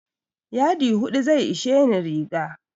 Yadi hudu zai isheni riga.